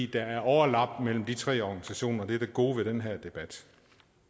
der overlap mellem de tre organisationer det er det gode ved den her debat